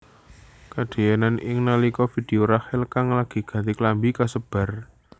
Kadadéyan iki nalika vidéo Rachel kang lagi ganti klambi kasebar